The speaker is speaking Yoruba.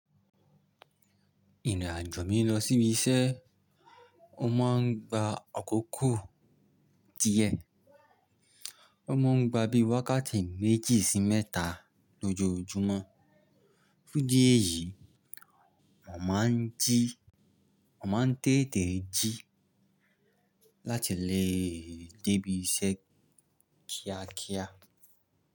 Ìrìn àjò mi lọ sí ibi iṣẹ́, ó máa ń gba àkókò díẹ̀. Ó máa ń gba bí i wákàtí méjì sí mẹ́ta lójoojúmọ́. Fún ìdí ẹ̀yìí, mo máa ń jí, mo máa ń tètè jí láti lè dé ibi iṣẹ́ kíákíá.